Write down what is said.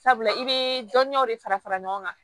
Sabula i bɛ dɔnniyaw de fara fara ɲɔgɔn kan